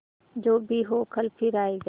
जो भी हो कल फिर आएगा